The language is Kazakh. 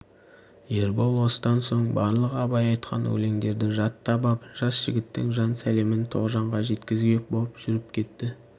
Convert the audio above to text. ербол осыдан соң барлық абай айтқан өлеңдерді жаттап ап жас жігіттің жан сәлемін тоғжанға жеткізбек боп жүріп кетті